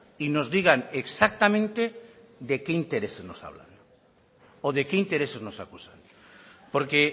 y nos digan exactamente de qué interés nos hablan o de qué intereses nos acusan porque